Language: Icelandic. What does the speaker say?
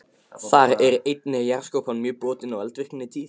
Þar er einnig jarðskorpan mjög brotin og eldvirkni tíð.